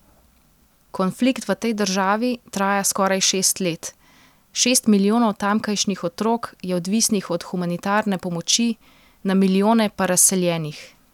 Konflikt v tej državi traja skoraj šest let, šest milijonov tamkajšnjih otrok je odvisnih od humanitarne pomoči, na milijone pa razseljenih.